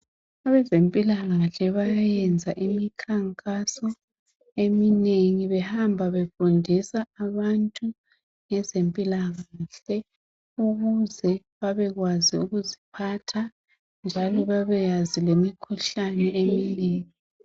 Abezempilakahle bayenza imikhankaso eminengi behamba befundisa abantu ngezempilakahle ukuze babekwazi ukuziphatha njalo babeyazi lemikhuhlane eminengi.